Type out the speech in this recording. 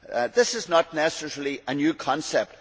This is not necessarily a new concept.